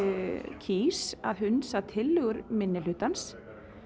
kýs að hunsa tillögu minnihlutans